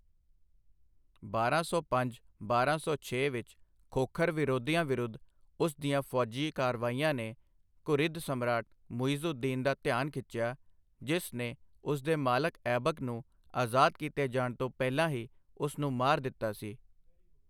ਬਾਰਾਂ ਸੌ ਪੰਜ ਬਾਰਾਂ ਸੌ ਛੇ ਵਿੱਚ ਖੋਖਰ ਵਿਦਰੋਹੀਆਂ ਵਿਰੁੱਧ ਉਸ ਦੀਆਂ ਫੌਜੀ ਕਾਰਵਾਈਆਂ ਨੇ ਘੁਰਿਦ ਸਮਰਾਟ ਮੁਈਜ਼ ਉਦ ਦੀਨ ਦਾ ਧਿਆਨ ਖਿੱਚਿਆ, ਜਿਸ ਨੇ ਉਸ ਦੇ ਮਾਲਕ ਐਬਕ ਨੂੰ ਅਜ਼ਾਦ ਕੀਤੇ ਜਾਣ ਤੋਂ ਪਹਿਲਾਂ ਹੀ ਉਸ ਨੂੰ ਮਾਰ ਦਿੱਤਾ ਸੀ।